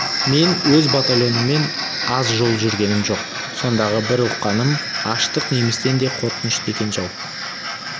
мен өз батальоныммен аз жол жүргенім жоқ сондағы бір ұққаным аштық немістен де қорқынышты екен жау